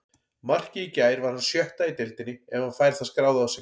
Markið í gær var hans sjötta í deildinni ef hann fær það skráð á sig.